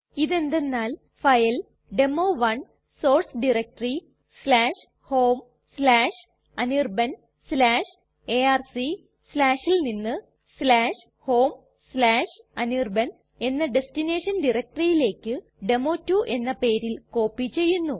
ഇത് എന്തെന്നാൽ ഫയൽ ഡെമോ1 സോർസ് ഡയറക്ടറി homeanirbanarc ൽ നിന്ന് homeanirban എന്ന ഡെസ്റ്റിനേഷൻ directoryലേക്ക് ഡെമോ2 എന്ന പേരിൽ കോപ്പി ചെയ്യുന്നു